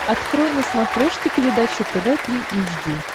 открой на смотрешке передачу тв три эйч ди